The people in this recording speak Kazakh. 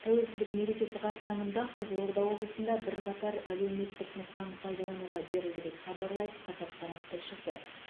тәуелсіздік мерекесі қарсаңында қызылорда облысында бірқатар әлеуметтік нысан пайдалануға берілді деп хабарлайды қазақпарат тілшісі